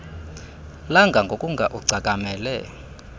langa ngokunga ugcakamele